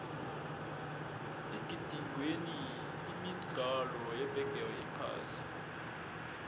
igidingwenini imidlalo yebigiri yephasi